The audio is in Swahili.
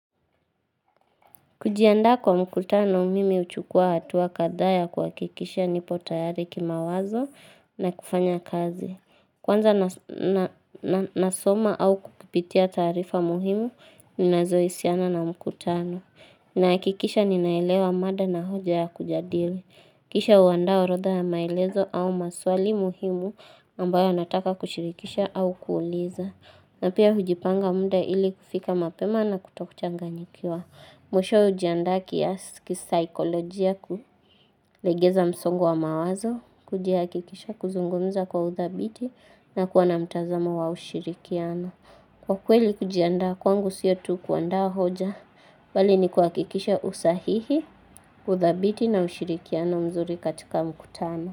Kujiandaa kwa mkutano mimi huchukua hatua kadhaa ya kuhakikisha nipo tayari kimawazo na kufanya kazi. Kwanza nasoma au kukipitia taarifa muhimu, ninazoisiana na mkutano. Nahakikisha ninaelewa mada na hoja ya kujadili. Kisha huandaa orodha ya maelezo au maswali muhimu ambayo nataka kushirikisha au kuuliza. Na pia hujipanga muda ili kufika mapema na kutokuchanganyikiwa. Mwishowe hujiandaa kiasi kisaikolojia kulegeza msongo wa mawazo, kujiakikisha kuzungumza kwa uthabiti na kuwa na mtazamo wa ushirikiano. Kwa kweli kujiandaa kwangu sio tu kuandaa hoja, bali ni kuhakikisha usahihi uthabiti na ushirikiano mzuri katika mkutano.